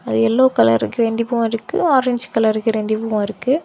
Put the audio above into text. Yellow colour கிரேந்தி பூ இருக்கு ஆரஞ்சு கலர் கிரேந்தி பூ இருக்கு.